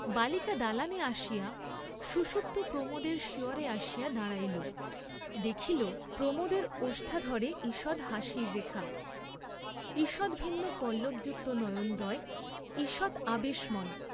বালিকা দালানে আসিয়া সুষুপ্ত প্রমোদের শিয়রে আসিয়া দাঁড়াইল, দেখিল, প্রমোদের ওষ্ঠাধরে ঈষৎ হাসির রেখা, ঈষদ্ভিন্ন পল্লবযুক্ত নয়নদ্বয় ঈষৎ আবেশময়।